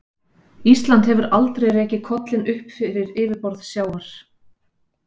Ísland hefur aldrei rekið kollinn upp fyrir yfirborð sjávar.